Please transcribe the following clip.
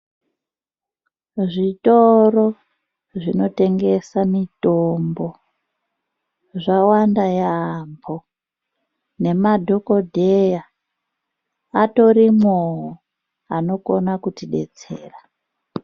Zvitoro zvinotengesa mitombo zvawanda yaamho nemadhogodheya atorimwowo anokona kutidetsera